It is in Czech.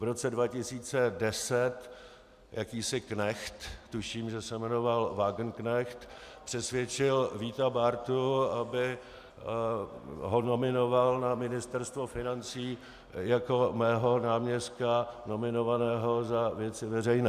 V roce 2010 jakýsi knecht, tuším, že se jmenoval Wagenknecht, přesvědčil Víta Bártu, aby ho nominoval na Ministerstvo financí jako mého náměstka nominovaného za Věci veřejné.